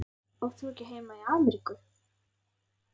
Átt þú ekki heima í Ameríku?